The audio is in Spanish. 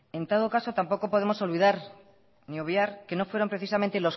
en todo caso tampoco podemos olvidar ni obviar que no fueron precisamente